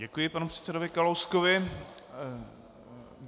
Děkuji panu předsedovi Kalouskovi.